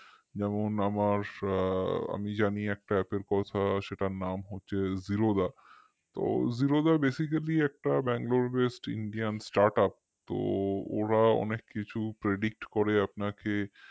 যেমন আমার আমি জানি একটা app কথা সেটার নাম হচ্ছে Zerodha তো zerodhabasically একটা bangalore based indian startup তো ওরা অনেক কিছু predict করে আপনাকে